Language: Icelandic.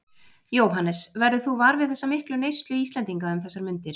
Jóhannes: Verður þú var við þessa miklu neyslu Íslendinga um þessar mundir?